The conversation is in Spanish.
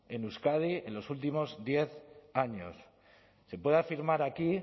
en euskadi en los últimos diez años se puede afirmar aquí